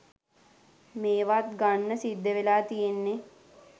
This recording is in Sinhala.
මේවත් ගන්න සිද්ධවෙලා තියෙන්නෙ.